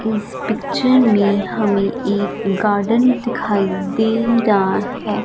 इस पिक्चर में हमें एक गार्डन दिखाई दे रहा है।